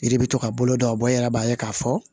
Yiri bɛ to ka bolo don a bɔ e yɛrɛ b'a ye k'a fɔ